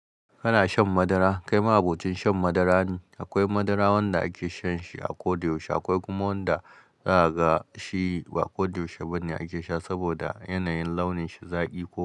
Kana shan madara? Kai ma'abocin shan madara ne. Akwai madara wanda ake sha shi a ko da yaushe, akwai kuma wanda zaga shi ba koda yaushe bane ake sha saboda yanayin launin sa zaƙi ko.